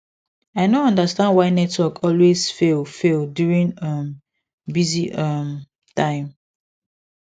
i no understand why network always fail fail during um busy um time